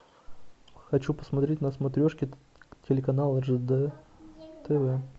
хочу посмотреть на смотрешке телеканал ржд тв